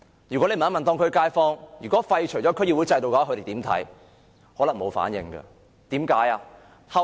如果大家問街坊，對於廢除區議會制度有何看法，他們可能沒有反應，為甚麼？